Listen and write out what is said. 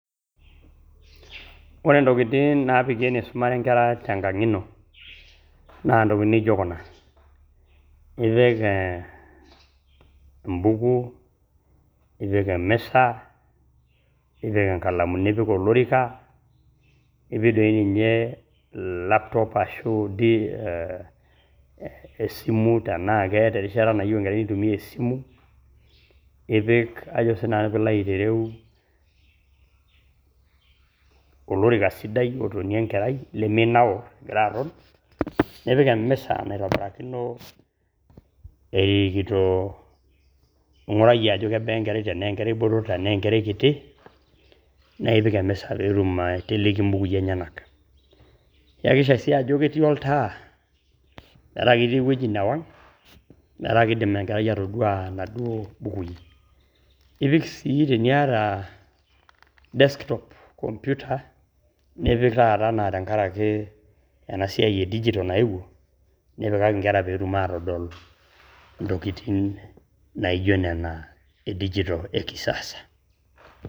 Ore ntokitin naapiki enisumare nkera tenkang ino naa ntokitin naijo kuna, ipik ee embuku, ipik e miza, ipik nkalamu, nipik olorika, nipik doi ninye laptop ashu ipik ee esimu tenaa keeta erishata nayieu enkerai nitumia esimu. Ipik sii ninye ajo sii nanu pee ilo aitereu olorika sidai otonie enkerai leminaur egira aton. Nipik emisa naitobirakino erikito, ing`urayie ajo kebaa enkera tenaa enkera botor tenaa enkerai kiti naa ipik emisa pee etumoki aiteleki inbukui enyenak. Iyakikisha sii ajo ketii oltaa metaa ketii ewueji newang , metaa kidim enkerai atoduaa naduo mbukui. Ipik sii teniata desktop computer nipik taata enaa tenkaraki ena siai e digital nayewuo nipikaki nkera pee etum aatodol ntokitin naijo nena e digital e kisasa.